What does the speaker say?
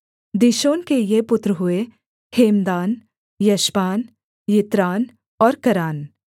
दीशोन के ये पुत्र हुए हेमदान एशबान यित्रान और करान